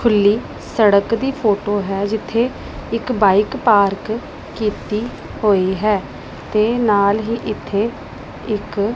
ਖੁੱਲੀ ਸੜਕ ਦੀ ਫੋਟੋ ਹੈ ਜਿੱਥੇ ਇੱਕ ਬਾਈਕ ਪਾਰਕ ਕੀਤੀ ਹੋਈ ਹੈ ਤੇ ਨਾਲ ਹੀ ਇੱਥੇ ਇੱਕ --